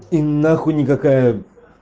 и нахуй никакая